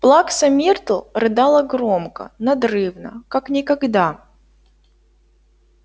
плакса миртл рыдала громко надрывно как никогда